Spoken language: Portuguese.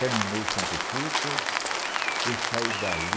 Terminou o santo culto, eu saí dali.